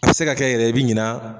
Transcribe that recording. A bɛ se ka kɛ yɛrɛ i bɛ ɲina.